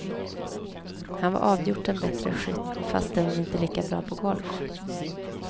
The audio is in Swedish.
Han var avgjort en bättre skytt, fastän inte lika bra på golf.